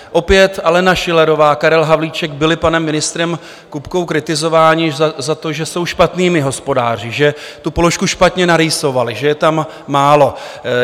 Opět Alena Schillerová a Karel Havlíček byli panem ministrem Kupkou kritizováni za to, že jsou špatnými hospodáři, že tu položku špatně narýsovali, že je tam málo.